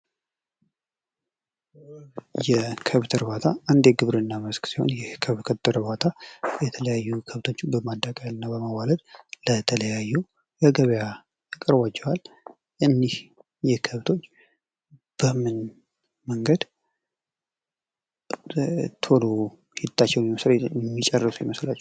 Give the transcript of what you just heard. የከብት እርባታ እንደ ግብርና መስክ ሲሆን የከብት እርባታ የተለያዩ ከብቶችን በማዳቀልና በማዋለድ ለተለያዩ ለገብያ ያቀርቧቸዋል። እነዚህ ከብቶች በምን መንገድ ስራቸውን የሚጨርሱ ይመስላችኋል?